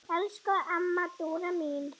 Elsku amma Dúra mín.